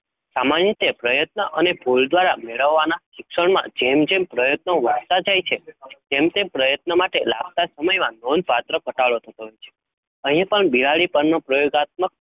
સામાન્ય રીતે પ્રયત્ન અને ભૂલ દ્વારા મેળવવાના શિક્ષણમાં જેમ જેમ પ્રયત્નો વધતા જાય છે તેમ તેમ પ્રયત્ન માટે લાગતા સમયમાં નોંધપાત્ર ઘટાડો થતો હોય છે. અહીંપણ બિલાડી પરનો પ્રયોગાત્મક